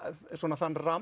þann ramma